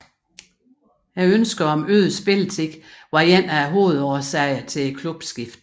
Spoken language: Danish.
Ønsket om øget spilletid var en af hovedårsagerne til klubskiftet